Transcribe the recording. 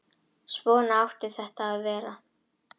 Svona átti þetta að vera.